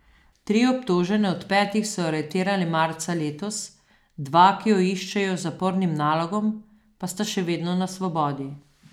Tri obtožene od petih so aretirali marca letos, dva, ki ju iščejo z zapornim nalogom, pa sta še vedno na svobodi.